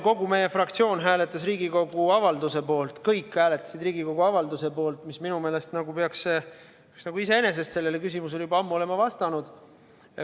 Kogu meie fraktsioon hääletas Riigikogu avalduse poolt, kõik hääletasid Riigikogu avalduse poolt – minu meelest peaks see iseenesest olema sellele küsimusele juba ammu vastanud.